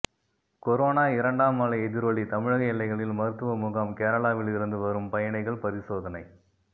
corona இரண்டாம் அலை எதிரொலி தமிழக எல்லைகளில் மருத்துவமுகாம் கேரளாவில் இருந்து வரும் பயணிகள் பரிசோதனை